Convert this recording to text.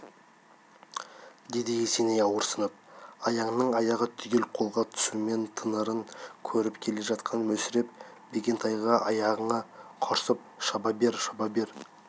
деді есеней ауырсынып аяңның аяғы түгел қолға түсумен тынарын көріп келе жатқан мүсіреп бекентайға аяңы құрсын шаба бер шаба бар